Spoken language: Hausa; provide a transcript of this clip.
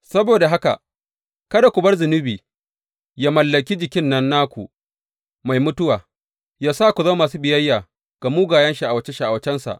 Saboda haka kada ku bar zunubi yă mallaki jikin nan naku mai mutuwa yă sa ku zama masu biyayya ga mugayen sha’awace sha’awacensa.